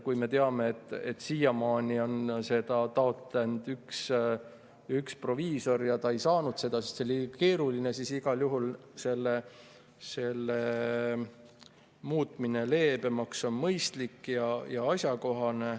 Kui me teame, et siiamaani on seda taotlenud üks proviisor ja ta ei saanud seda, sest see oli liiga keeruline, siis igal juhul on muutmine leebemaks mõistlik ja asjakohane.